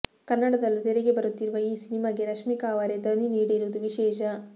ಕನ್ನಡದಲ್ಲೂ ತೆರೆಗೆ ಬರುತ್ತಿರುವ ಈ ಸಿನಿಮಾಗೆ ರಶ್ಮಿಕಾ ಅವರೇ ಧ್ವನಿ ನೀಡಿರುವುದು ವಿಶೇಷ